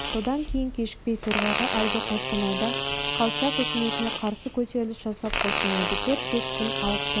содан кейін кешікпей торғайға әлгі қостанайда колчак үкіметіне қарсы көтеріліс жасап қостанайды төрт-бес күн алып тұрып